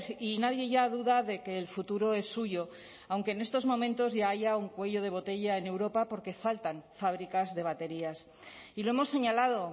y nadie ya duda de que el futuro es suyo aunque en estos momentos ya haya un cuello de botella en europa porque faltan fábricas de baterías y lo hemos señalado